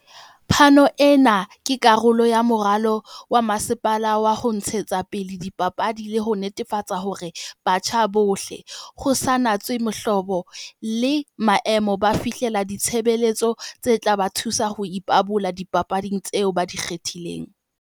"Phano ena ke karolo ya moralo wa masepala wa ho ntshetsapele dipapadi le ho netefatsa hore batjha bohle, ho sa natswe mohlobo le maemo, ba fihlella ditshebeletso tse tla ba thusa ho ipabola dipapading tseo ba di kgethileng."